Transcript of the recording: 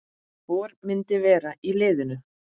Hvor myndi vera í liðinu?